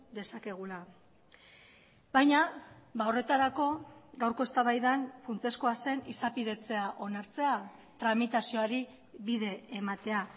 dezakegula baina horretarako gaurko eztabaidan funtsezkoa zen izapidetzea onartzea tramitazioari bide ematea